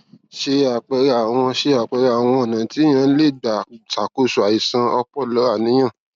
se apere awọn se apere awọn ọnà tí eniyan lè gbà ṣàkóso àìsàn ọpọlọàníyàn